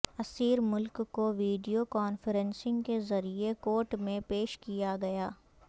اسیر ملک کو video conferencing کے ذریعے کورٹ میں پیش کیا گیا